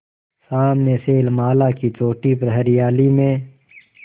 सामने शैलमाला की चोटी पर हरियाली में